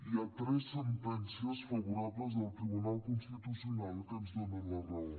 hi ha tres sentències favorables del tribunal constitucional que ens donen la raó